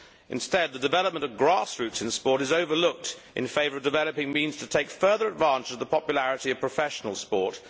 Instead, the development of grass roots in sport is overlooked in favour of developing means to take further advantage of the popularity of professional sport.